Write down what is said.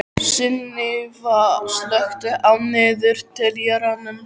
Sunníva, slökktu á niðurteljaranum.